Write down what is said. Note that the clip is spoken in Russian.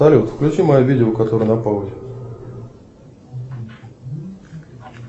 салют включи мое видео которое на паузе